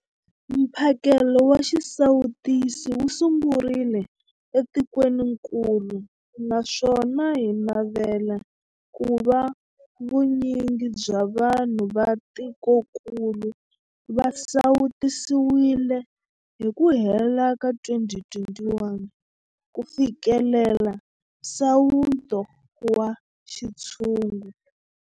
Mphakelo wa xisawutisi wu sungurile etikwenikulu naswona hi navela ku va vunyingi bya vanhu va tikokulu va sawutisiwile hi ku hela ka 2021 ku fikelela nsawuto wa xintshungu.